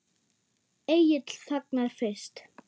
Egill þagnar fyrst.